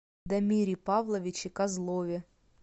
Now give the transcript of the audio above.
дамире павловиче козлове